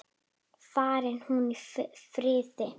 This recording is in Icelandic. Fari hún í friði.